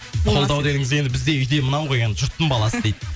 қолдау дегеніміз енді бізде үйде мынау ғой енді жұрттың баласы дейді